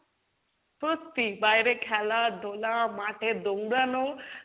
সত্যি, বাইরে খেলা ধোলা, মাঠে দৌড়ানো